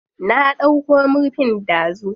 Na ɗauko murfin dazu.